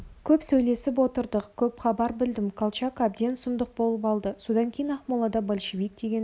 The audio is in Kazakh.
көп сөйлесіп отырдық көп хабар білдім колчак әбден сұмдық болып алды содан кейін ақмолада большевик дегенді